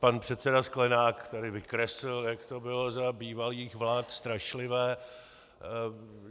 Pan předseda Sklenák tady vykreslil, jak to bylo za bývalých vlád strašlivé.